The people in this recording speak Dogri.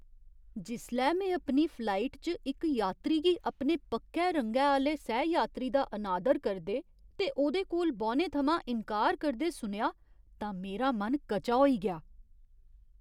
जिसलै में अपनी फ्लाइट च इक यात्री गी अपने पक्के रंगै आह्‌ले सैह यात्री दा अनादर करदे ते ओह्दे कोल बौह्ने थमां इन्कार करदे सुनेआ तां मेरा मन कचा होई गेआ।